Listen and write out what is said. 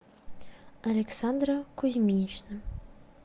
александра кузьминична